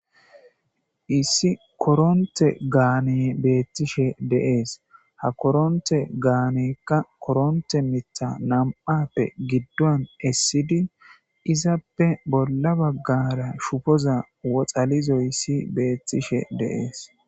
Issi koronte gaane beettishe deees ha koronte gaanekka koronte mitha nam7appe giddon essidi izappe bolla baggara shufoza woxalizoy issi beettishe deees.